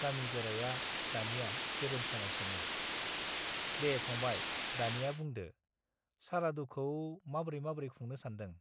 गामि गोराया दानिया गेरेमसानाव सोङो, दे फंबाय दानिया बुंदो , सारादुखौ माब्रै माब्रै खुंनो सानदों ?